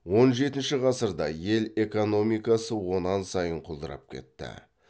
он жетінші ғасырда ел экономикасы онан сайын құлдырап кетті